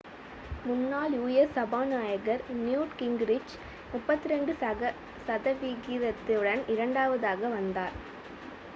முன்னாள் u.s. சபாநாயகர் Newt Gingrich 32 சதவிகிதத்துடன் இரண்டாவதாக வந்தார்